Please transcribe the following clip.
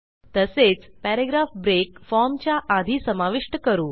तसेच paragraph break फॉर्मच्या आधी समाविष्ट करू